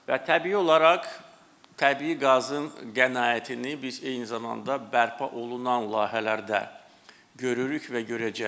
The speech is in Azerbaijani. Və təbii olaraq təbii qazın qənaətini biz eyni zamanda bərpa olunan layihələrdə görürük və görəcəyik.